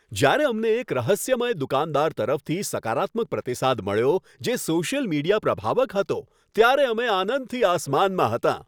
જ્યારે અમને એક રહસ્યમય દુકાનદાર તરફથી સકારાત્મક પ્રતિસાદ મળ્યો, જે સોશિયલ મીડિયા પ્રભાવક હતો, ત્યારે અમે આનંદથી આસમાનમાં હતાં.